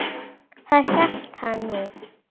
Það hélt hann nú.